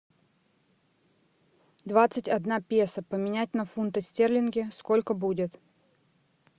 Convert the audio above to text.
двадцать одна песо поменять на фунты стерлинги сколько будет